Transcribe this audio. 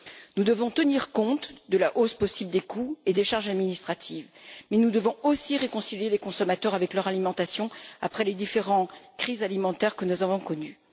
Nous devons tenir compte de la hausse possible des coûts et des charges administratives mais nous devons aussi réconcilier les consommateurs avec leur alimentation après les différentes crises alimentaires que nous avons connues.